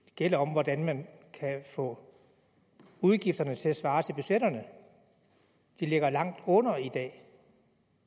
gælder om hvordan man kan få udgifterne til at svare til budgetterne de ligger langt under